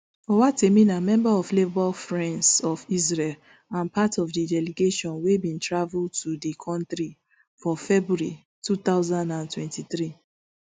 owatemi na member of labour friends of israel and part of di delegation wey bin travel to di kontri for february two thousand and twenty-three